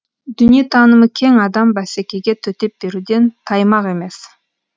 дүниетанымы кең адам бәсекеге төтеп беруден таймақ емес